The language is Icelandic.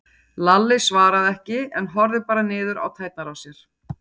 Lalli svaraði ekki en horfði bara niður á tærnar á sér.